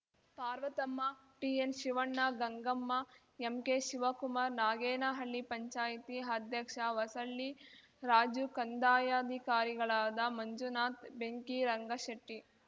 Parvathamma TN Shivanna Gangamma MK Shivakumar Nagenahalli panchayat ಅಧ್ಯಕ್ಷ ಹೊಸಳ್ಳಿ ರಾಜು ಕಂದಾಯಾಧಿಕಾರಿಗಳಾದ ಮಂಜುನಾಥ್‌ ಬೆಂಕಿ ರಂಗಶೆಟ್ಟಿ